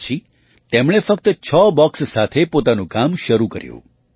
તે પછી તેમણે ફક્તછ બૉક્સ સાથે પોતાનું કામ શરૂ કર્યું